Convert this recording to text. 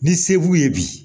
Ni se b'u ye bi